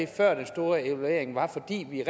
før den store evaluering var fordi vi